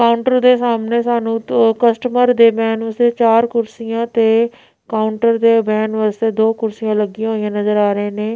Counter ਦੇ ਸਾਹਮਣੇ ਸਾਨੂੰ ਦੋ ਕਸਟਮਰ ਦੇ ਬੈਨ ਵਾਸਤੇ ਚਾਰ ਕੁਰਸੀਆਂ ਤੇ ਕਾਊਂਟਰਾਂ ਦੇ ਬੈਨ ਵਾਸਤੇ ਦੋ ਕੁਰਸੀਆਂ ਲੱਗੀਆਂ ਹੋਈਆਂ ਨਜ਼ਰ ਆ ਰਹੇ ਨੇਂ।